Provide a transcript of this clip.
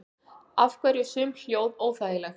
Af hverju eru sum hljóð óþægileg?